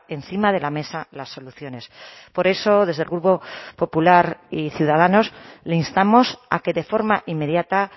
encima de la mesa las soluciones por eso desde el grupo popular y ciudadanos le instamos a que de forma inmediata